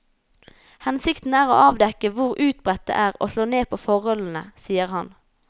Hensikten er å avdekke hvor utbredt det er og slå ned på forholdene, sier han.